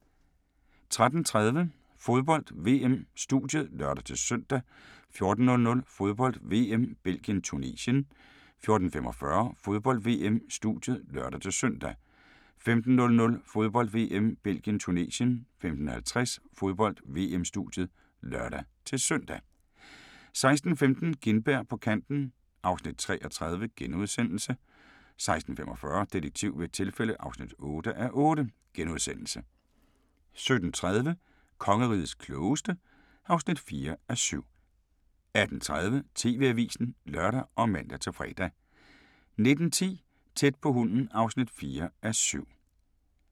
13:30: Fodbold: VM - studiet (lør-søn) 14:00: Fodbold: VM - Belgien-Tunesien 14:45: Fodbold: VM - studiet (lør-søn) 15:00: Fodbold: VM - Belgien-Tunesien 15:50: Fodbold: VM - studiet (lør-søn) 16:15: Gintberg på kanten (3:30)* 16:45: Detektiv ved et tilfælde (8:8)* 17:30: Kongerigets klogeste (4:7) 18:30: TV-avisen (lør og man-fre) 19:10: Tæt på hunden (4:7)